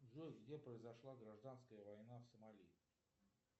джой где произошла гражданская война в сомали